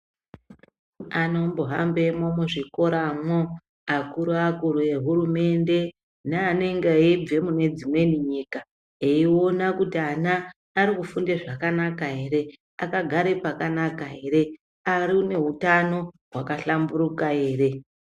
Anombo hambe mwo muzvikoramo, akukuakuru ehuumende neanenge eibve mune dzimweni nyika eiona kuti ana arikufunde zvakanaka here, akagare pakanaka ere, aneutano hwakabhlamburuka ere.